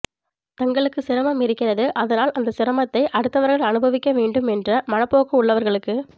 தங்களுக்கு சிரமம் இருக்கிறது அதனால் அந்த சிரமத்தை அடுத்தவர்கள் அனுபவிக்க வேண்டும் என்ற மனப்போக்கு உள்ளவர்களுக்கு